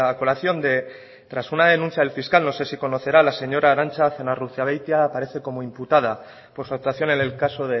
colación de tras una denuncia del fiscal no sé si conocerá la señora arantza zenarruzabeitia aparece como imputado por su actuación en el caso